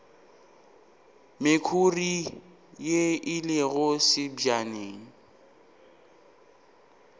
mekhuri ye e lego sebjaneng